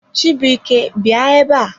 Chibuike bịa ebe a!